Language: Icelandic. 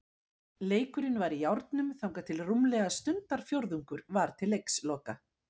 Leikurinn var í járnum þangað til rúmlega stundarfjórðungur var til leiksloka.